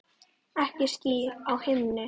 Ekki ský á himni.